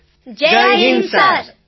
બધા NCC cadet Jai Hind sir